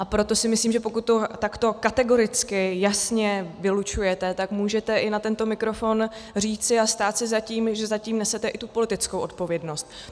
A proto si myslím, že pokud to takto kategoricky, jasně, vylučujete, tak můžete i na tento mikrofon říci a stát si za tím, že za tím nesete i tu politickou odpovědnost.